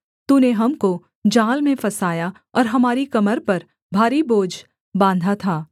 तूने हमको जाल में फँसाया और हमारी कमर पर भारी बोझ बाँधा था